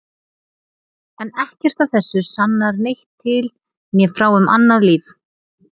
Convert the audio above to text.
En ekkert af þessu sannar neitt til né frá um annað líf.